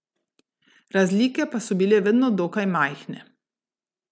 Razlike pa so bile vedno dokaj majhne.